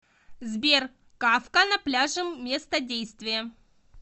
сбер кафка на пляже место действия